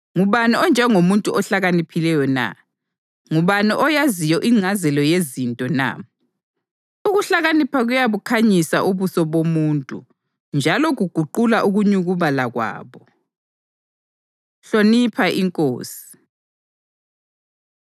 Ngubani onjengomuntu ohlakaniphileyo na? Ngubani oyaziyo ingcazelo yezinto na? Ukuhlakanipha kuyabukhanyisa ubuso bomuntu njalo kuguqula ukunyukubala kwabo. Hlonipha Inkosi